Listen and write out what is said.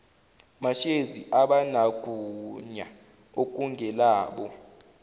mashezi abanagunya okungelabo